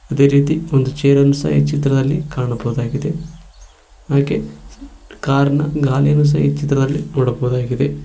ಅದೆ ರೀತಿ ಒಂದ್ ಚೇರ್ ಅನ್ನು ಸಹ ಈ ಚಿತ್ರದಲ್ಲಿ ಕಾಣಬಹುದಾಗಿದೆ ಹಾಗೆ ಕಾರ್ ನ ಗಾಲಿನು ಸಹ ಈ ಚಿತ್ರದಲ್ಲಿ ನೋಡಬಹುದಾಗಿದೆ.